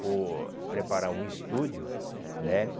por preparar um estúdio, né?